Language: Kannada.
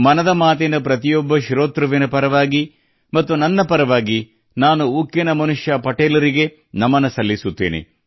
ಮನದ ಮಾತಿನ ಪ್ರತಿಯೊಬ್ಬ ಶ್ರೋತೃಗಳ ಪರವಾಗಿ ಮತ್ತು ನನ್ನ ಪರವಾಗಿ ನಾನು ಉಕ್ಕಿನ ಮನುಷ್ಯ ನಿಗೆ ನಮನ ಸಲ್ಲಿಸುತ್ತೇನೆ